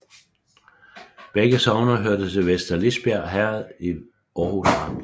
Begge sogne hørte til Vester Lisbjerg Herred i Aarhus Amt